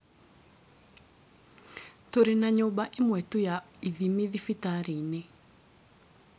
Tũrĩ na nyũmba ĩmwe tu ya ithimi thibatarĩ-inĩ